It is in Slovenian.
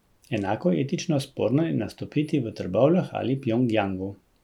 Enako etično sporno je nastopiti v Trbovljah ali Pjongjangu.